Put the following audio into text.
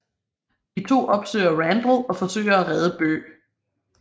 De to opsøger Randall og forsøger at redde Bøh